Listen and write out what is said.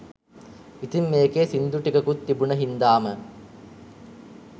ඉතිං මේකේ සින්දු ටිකකුත් තිබුණ හින්දාම